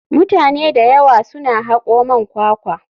Mutane da yawa suna hako man kwakwa.